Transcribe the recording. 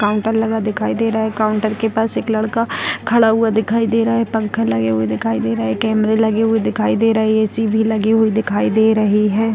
Counter लगा दिखाई दे रहा है काउंटर के पास एक लड़का खड़ा हुआ दिखाई दे रहा है पंखे लगे हुए दिखाई दे रहा है कैमरे लगे हुए दिखाई दे रहें हैं ए.सी. भी लगे हुए दिखाई दे रहें हैं।